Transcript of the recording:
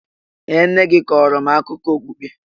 Ee! Nne gị kọọrọ m akụkọ okpukpe.